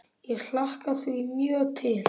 Ég hlakka því mjög til.